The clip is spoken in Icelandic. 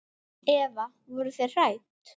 Eva: Voruð þið hrædd?